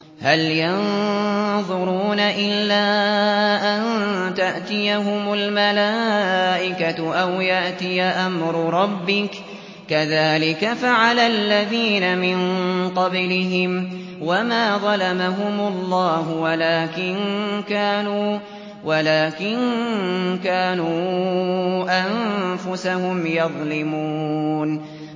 هَلْ يَنظُرُونَ إِلَّا أَن تَأْتِيَهُمُ الْمَلَائِكَةُ أَوْ يَأْتِيَ أَمْرُ رَبِّكَ ۚ كَذَٰلِكَ فَعَلَ الَّذِينَ مِن قَبْلِهِمْ ۚ وَمَا ظَلَمَهُمُ اللَّهُ وَلَٰكِن كَانُوا أَنفُسَهُمْ يَظْلِمُونَ